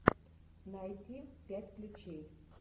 найди пять ключей